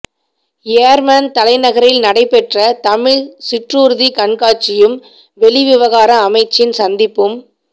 யேர்மன் தலைநகரில் நடைபெற்ற தமிழ் சிற்றூர்திக் கண்காட்சியும் வெளிவிவகார அமைச்சின் சந்திப்பும்